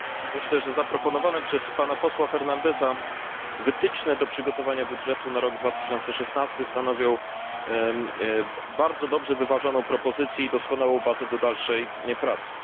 Myślę, że zaproponowane przez pana posła Fernandesa wytyczne do przygotowania budżetu na rok 2016 stanowią bardzo dobrze wyważoną propozycję i doskonałą bazę do dalszej pracy.